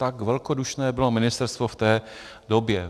Tak velkodušné bylo ministerstvo v té době.